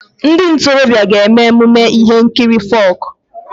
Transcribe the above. Ndị ntorobịa ga-eme emume ihe nkiri folk.